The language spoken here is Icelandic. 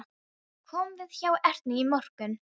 Ég kom við hjá Ernu í morgun.